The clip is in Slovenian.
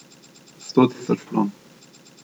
Sto tisoč kron.